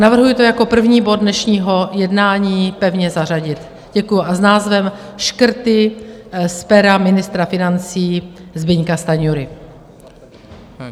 Navrhuji to jako první bod dnešního jednání pevně zařadit, děkuji, a s názvem Škrty z pera ministra financí Zbyňka Stanjury.